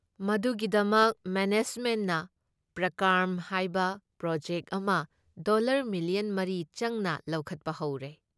ꯃꯗꯨꯒꯤꯗꯃꯛ ꯃꯦꯅꯦꯖꯃꯦꯟꯠꯅ ꯄ꯭ꯔꯀꯥꯔꯝ ꯍꯥꯏꯕ ꯄ꯭ꯔꯣꯖꯦꯛꯠ ꯑꯃ ꯗꯣꯜꯂꯔ ꯃꯤꯂꯤꯌꯟ ꯃꯔꯤ ꯆꯪꯅ ꯂꯧꯈꯠꯄ ꯍꯧꯔꯦ ꯫